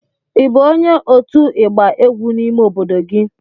Ị bụ onye otu igba egwu n'ime obodo gị?